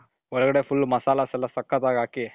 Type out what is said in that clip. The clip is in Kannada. ಒಳಗಡೆ full masala's ಎಲ್ಲಾ ಸಕಥಾಗಿ ಹಾಕಿ .